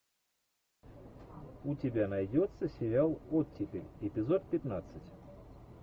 у тебя найдется сериал оттепель эпизод пятнадцать